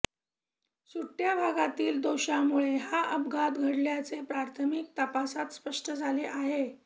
सुटय़ा भागातील दोषांमुळे हा अपघात घडल्याचे प्राथमिक तपासात स्पष्ट झाले आहे